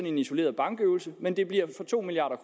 en isoleret bankøvelse men det bliver to milliard